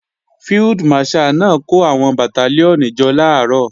Field Marshal náà kó àwọn Bàtálíọ̀nì jọ làárọ̀